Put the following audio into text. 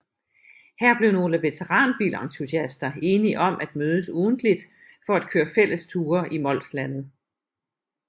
Her blev nogle veteranbilentusiaster enige om at mødes ugentligt for at køre fælles ture i Molslandet